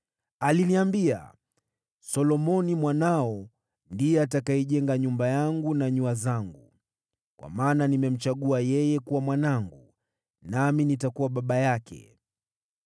Aliniambia, ‘Solomoni mwanao ndiye atakayejenga nyumba yangu na nyua zangu, kwa maana nimemchagua yeye kuwa mwanangu, nami nitakuwa baba yake.